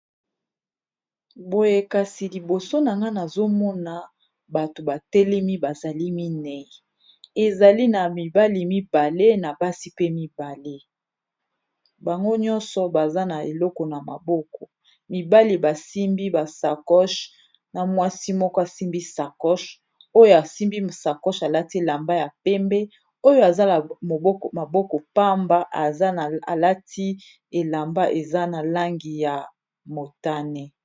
Boye kasi liboso nanga nazomona batu , batelemi bazali minei ,ezali na mibali mibale na basi , pe mibale bango nyonso baza na eloko na maboko mibali basimbi ba sakosh, na mwasi moko asimbi sakoch oyo asimbi sakosh alati elamba ya pembe oyo aza Moko za maboko pamba alati elamba eza na langi ya motane.